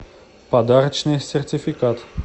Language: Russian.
подарочный сертификат